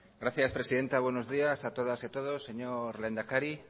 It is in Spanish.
gracias presidenta buenos días a todas y a todos señor lehendakari